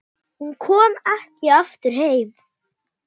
Hún kom ekki aftur heim.